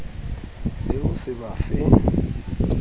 le ho se ba fe